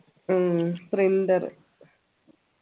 ഉം printer